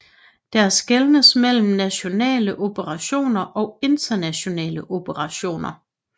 Der skelnes mellem nationale operationer og internationale operationer